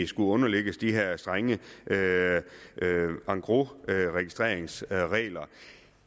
skulle underlægges de her strenge engrosregistreringsregler